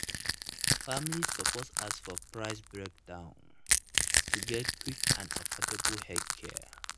families suppose ask for price breakdown to get quick and affordable healthcare.